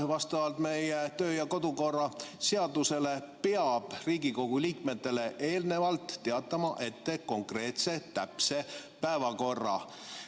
Vastavalt meie töö- ja kodukorra seadusele peab Riigikogu liikmetele eelnevalt teatama ette konkreetse täpse päevakorra.